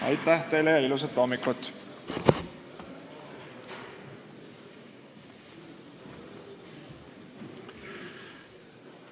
Aitäh teile ja ilusat hommikut!